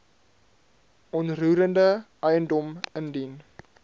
onroerende eiendom indien